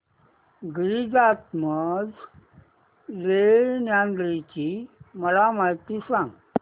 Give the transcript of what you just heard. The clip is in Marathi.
गिरिजात्मज लेण्याद्री ची मला माहिती सांग